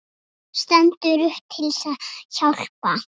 Stendur upp til að hjálpa.